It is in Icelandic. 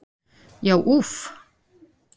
Já úff!